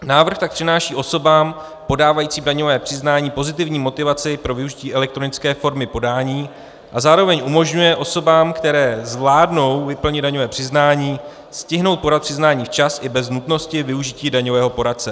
Návrh tak přináší osobám podávajícím daňové přiznání pozitivní motivaci pro využití elektronické formy podání a zároveň umožňuje osobám, které zvládnou vyplnit daňové přiznání, stihnout podat přiznání včas i bez nutnosti využití daňového poradce.